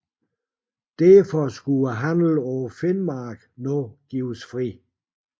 Derfor skulle handelen på Finnmarken nu gives fri